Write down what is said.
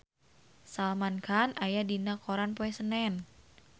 Salman Khan aya dina koran poe Senen